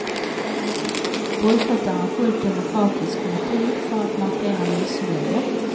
Bojkott är en fullt demokratisk metod för att markera missnöje.